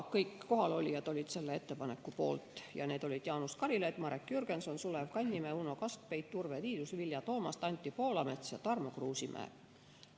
Kõik kohalolijad olid selle ettepaneku poolt ja need olid Jaanus Karilaid, Marek Jürgenson, Sulev Kannimäe, Uno Kaskpeit, Urve Tiidus, Vilja Toomast, Anti Poolamets ja Tarmo Kruusimäe.